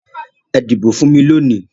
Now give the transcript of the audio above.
Ẹ dìbò fún mi lónìí!